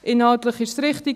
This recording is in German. Inhaltlich ist es richtig.